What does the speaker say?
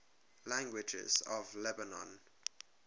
languages of lebanon